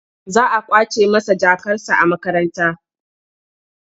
Za a ƙwace masa jakarsa a makaranta.